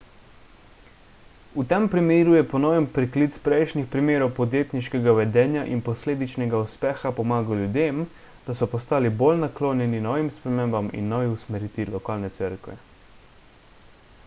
v tem primeru je ponoven priklic prejšnjih primerov podjetniškega vedenja in posledičnega uspeha pomagal ljudem da so postali bolj naklonjeni novim spremembam in novi usmeritvi lokalne cerkve